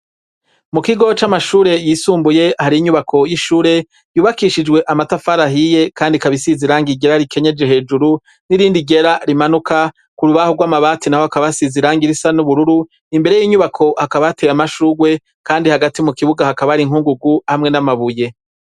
Mu kigo c'amashure yisumbuye, hari inyubako y'ishure, yubakishijwe amatafari ahiye, kandi ikaba isize irangi ryera rikenyeje hejuru, n'irindi ryera rimanuka, k'urubaho rw'amabati naho hakaba hasize irangi irisa n'ubururu, imbere y'inyubako hakaba hateye amashugwe, kandi hagati mu kibuga hakaba hari inkungugu hamwe n'amabuye.